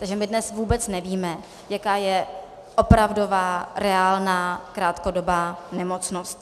Takže my dnes vůbec nevíme, jaká je opravdová reálná krátkodobá nemocnost.